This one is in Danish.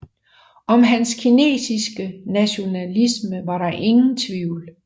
Om hans kinesiske nationalisme var der ingen tvivl